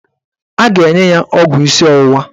A ga-enye ya ọgwụ isi ọwụwa